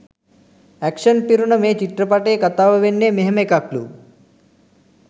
Action පිරුණ මේ චිත්‍රපටයේ කතාව වෙන්නේ මෙහෙම එකක්ලු.